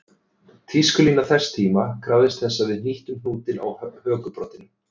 Tískulína þess tíma krafðist þess að við hnýttum hnútinn á hökubroddinum